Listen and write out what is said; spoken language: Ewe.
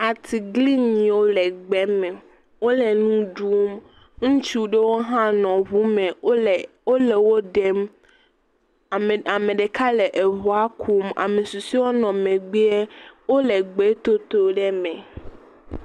Atiglinyiwo le gbe me, wole nu ɖum. Ŋutsu aɖewo hã nɔ ŋu me wole wole wo ɖem. Ame ɖeka nɔ ŋua kum ame susuewo le megbe ye wole gbe toto ɖe me.